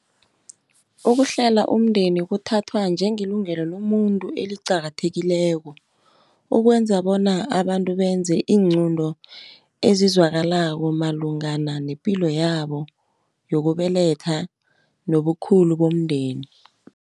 Ukuhlela umndeni kuthathwa njengelungelo lomuntu eliqakathekileko, ukwenza bona abantu benze iinqunto ezizwakalako, malungana nepilo yabo yokubeletha nobukhulu bomndeni.